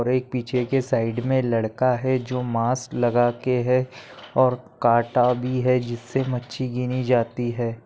और एक पीछेके साइड मै लड़का है जो मास्क लगाके है और काटा भी है जीस्से मच्छी गिनी जाती है।